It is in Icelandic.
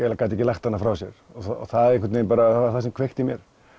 gat ekki lagt hana frá sér það var það sem kveikti í mér